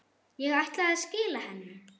Ég ætlaði að skila henni.